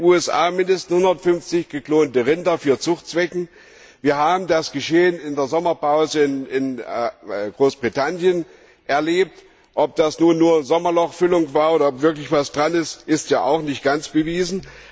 in den USA mindestens 150 geklonte Rinder für Zuchtzwecke. Wir haben das Geschehen in der Sommerpause in Großbritannien erlebt. Ob das nun nur Sommerlochfüllung war oder ob wirklich was dran ist, ist nicht ganz bewiesen.